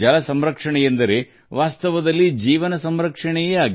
ಜಲ ಸಂರಕ್ಷಣೆ ಎಂದರೆ ಅದು ಜೀವ ಸಂರಕ್ಷಣೆ